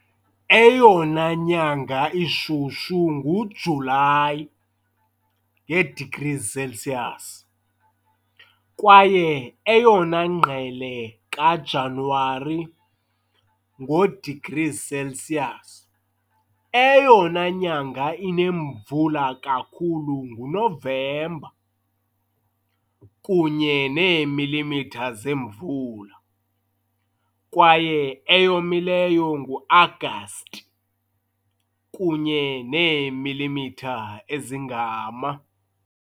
Eyona nyanga ishushu nguJulayi, ngee-degrees Celsius, kwaye eyona ngqele kaJanuwari, ngoo-degrees Celsius. Eyona nyanga inemvula kakhulu nguNovemba, kunye neemilimitha zemvula, kwaye eyomileyo nguAgasti, kunye neemilimitha ezingama.